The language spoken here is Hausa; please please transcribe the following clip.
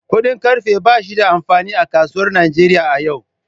Kudin karfe ba shi da amfani a kasuwar Najeriya a yau.